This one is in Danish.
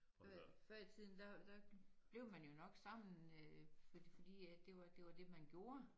Før i før i tiden der der blev man jo nok sammen øh fordi at det var det var det man gjorde